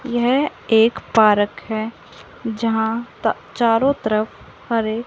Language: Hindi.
यह एक पारक है प जहां चारों तरफ हरे--